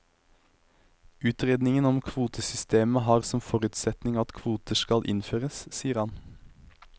Utredningen om kvotesystemet har som forutsetning at kvoter skal innføres, sier han.